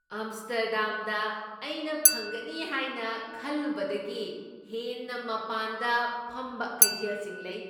ꯑꯝꯁ꯭ꯇꯔꯗꯥꯝꯗ ꯑꯩꯅ ꯐꯪꯒꯅꯤ ꯍꯥꯏꯅ ꯈꯜꯂꯨꯕꯗꯒꯤ ꯍꯦꯟꯅ ꯃꯄꯥꯟꯗ ꯐꯝꯕ ꯀꯩꯊꯦꯜꯁꯤꯡ ꯂꯩ ꯫